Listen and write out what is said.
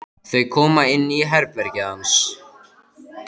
Þau koma inn í herbergið hans.